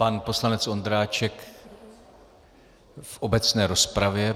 Pan poslanec Ondráček v obecné rozpravě.